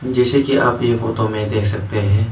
जैसे कि आप ये फोटो में देख सकते है।